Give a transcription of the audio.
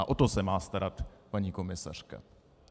A o to se má starat paní komisařka.